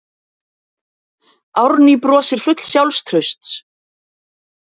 Árný brosir full sjálfstrausts.